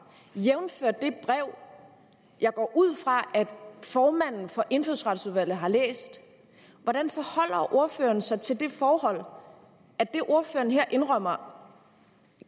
jævnfør det brev jeg går ud fra at formanden for indfødsretsudvalget har læst hvordan forholder ordføreren sig til det forhold at det ordføreren her indrømmer